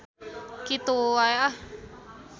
Kitu wae ah.